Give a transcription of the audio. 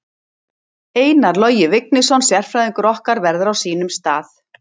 Einar Logi Vignisson sérfræðingur okkar verður á sínum stað.